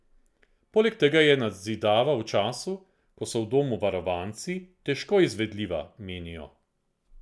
Poleg tega je nadzidava v času, ko so v domu varovanci, težko izvedljiva, menijo.